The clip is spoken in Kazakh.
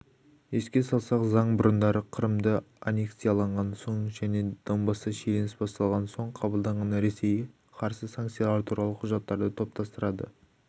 еске салсақ заң бұрындары қырымды анекциялаған соң және донбаста шиеленіс басталған соң қабылданған ресейге қарсы санкциялар туралы құжаттарды топтастырады